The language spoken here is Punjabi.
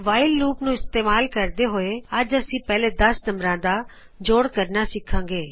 ਵਾਇਲ ਲੂਪ ਨੂੰ ਇਸਤੇਮਾਲ ਕਰਦੇ ਹੋਏ ਅੱਜ ਅਸੀ ਪਹਿਲੇ ਦਸ ਨੰਬਰਾਂ ਦਾ ਜੋੜ ਕਰਨਾ ਸਿੱਖਾਗੇ